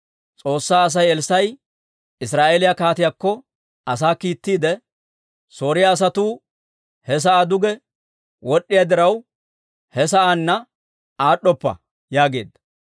S'oossaa Asay Elssaa'i Israa'eeliyaa kaatiyaakko asaa kiittiide, «Sooriyaa asatuu he sa'aa duge wod'd'iyaa diraw, he sa'aanna aad'd'oppa» yaageedda.